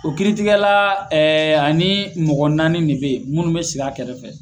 O kiritigɛla ani mɔgɔ naani de bɛ yen minnu bɛ sigi a kɛrɛfɛ .